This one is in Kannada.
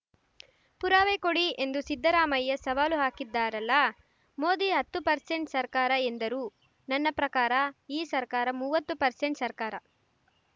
ಪುರಾವೆ ಕೊಡಿ ಎಂದು ಸಿದ್ದರಾಮಯ್ಯ ಸವಾಲು ಹಾಕಿದ್ದಾರಲ್ಲ ಮೋದಿ ಹತ್ತು ಪರ್ಸೆಂಟ್‌ ಸರ್ಕಾರ ಎಂದರು ನನ್ನ ಪ್ರಕಾರ ಈ ಸರ್ಕಾರ ಮುವತ್ತು ಪರ್ಸೆಂಟ್‌ ಸರ್ಕಾರ